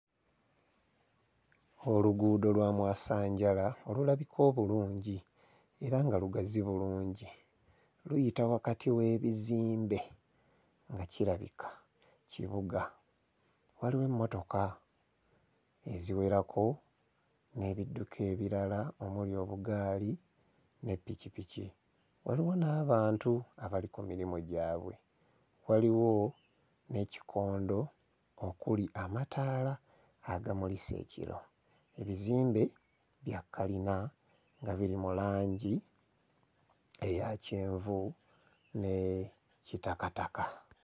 Oluguudo lwa mwasanjala olulabika obulungi era nga lugazi bulungi luyita wakati w'ebizimbe nga kirabika kibuga. Waliwo emmotoka eziwerako n'ebidduka ebirala omuli obugaali ne ppikipiki, waliwo n'abantu abali ku mirimu gyabwe, waliwo n'ekikondo okuli amataala agamulisa ekiro. Ebizimbe bya kkalina nga biri mu langi eya kyenvu ne kitakataka.